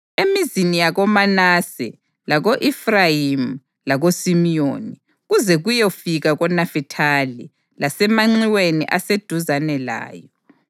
Emizini yakoManase, lako-Efrayimi lakoSimiyoni, kuze kuyefika koNafithali, lasemanxiweni aseduzane layo,